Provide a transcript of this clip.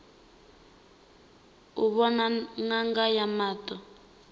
u vhona ṅanga ya maṱo